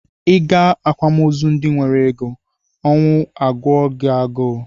Ị gaa akwamozu ndị nwere ego, ọnwụ agụọ gị agụụ